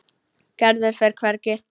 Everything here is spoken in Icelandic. Gerður fer hvergi.